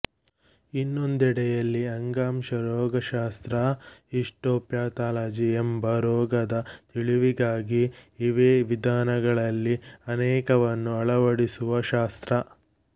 ಇನ್ನೊಂದೆಡೆಯಲ್ಲಿ ಅಂಗಾಂಶ ರೋಗಶಾಸ್ತ್ರ ಹಿಸ್ಟೊಪ್ಯಾಥಾಲಜಿ ಎಂದರೆ ರೋಗದ ತಿಳಿವಿಗಾಗಿ ಇವೇ ವಿಧಾನಗಳಲ್ಲಿ ಅನೇಕವನ್ನು ಅಳವಡಿಸುವ ಶಾಸ್ತ್ರ